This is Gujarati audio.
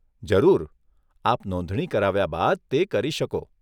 જરૂર, આપ નોંધણી કરાવ્યા બાદ તે કરી શકો.